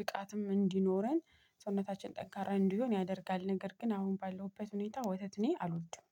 ብቃትም እንዲኖረን ሰውነታችን ጠንካራ እንዲሆን ያደርጋል። ነገር ግን አሁን ባለውበት ሁኔታ ወተት እኔ አልወድም።